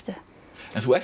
en þú ert